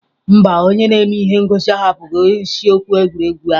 Mba, onye na-eme ihe ngosi ahapụghị isiokwu egwuregwu ahụ.